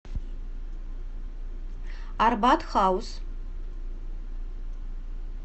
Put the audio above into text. арбат хаус